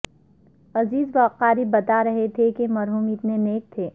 عزیز و اقارب بتا رہے تھے کہ مرحوم اتنے نیک تھے